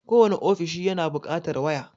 Kowane ofishi yana buƙatar waya.